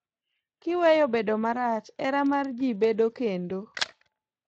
Kiweyo bedo marach , hera mar ji bedo kendo.